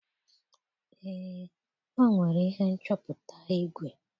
Ee, o nwere ihe nchọpụta igwe.